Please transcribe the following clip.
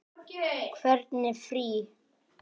Hvernig frí.